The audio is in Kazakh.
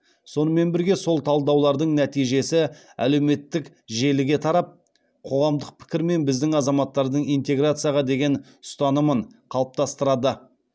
сонымен бірге сол талдаулардың нәтижесі әлеуметтік желіге тарап қоғамдық пікір мен біздің азаматтардың интеграцияға деген ұстанымын қалыптастырады